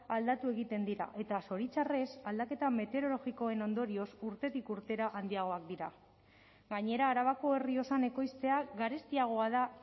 aldatu egiten dira eta zoritxarrez aldaketa meteorologikoen ondorioz urtetik urtera handiagoak dira gainera arabako errioxan ekoiztea garestiagoa da